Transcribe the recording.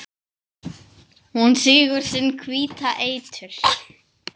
Hún sýgur sinn hvíta eitur